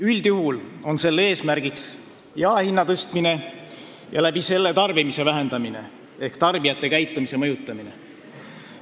Üldjuhul on selle eesmärk jaehinna tõstmine ja selle kaudu tarbimise vähendamine ehk tarbijate käitumise mõjutamine.